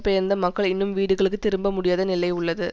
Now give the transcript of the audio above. பெயர்ந்த மக்கள் இன்னும் வீடுகளுக்கு திரும்ப முடியாத நிலை உள்ளது